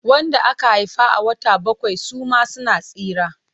Wanda aka haifa a wata bakwai suma suna tsira.